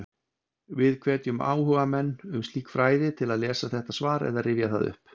Við hvetjum áhugamenn um slík fræði til að lesa þetta svar eða rifja það upp.